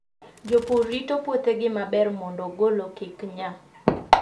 Jopur rito puothegi maber mondo ogolo kik nya.